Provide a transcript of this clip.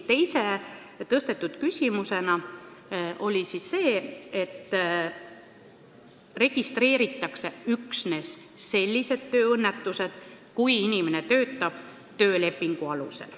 Teine tõstatatud küsimus oli see, et registreeritakse üksnes sellised tööõnnetused, kui inimene töötab töölepingu alusel.